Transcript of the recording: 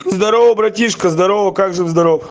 здорово братишка здорово как жив здоров